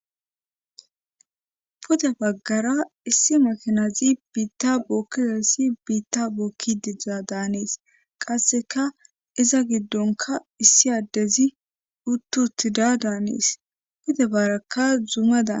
pude baggara issi makanazi biitta bookkizassi biitta bookki dizdza daanees qasseka iza giddonka issi addezi uttuttida daanees pude baarakka zuuma dan